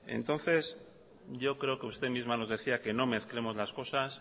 entonces yo creo que usted misma nos decía que nos mezclemos las cosas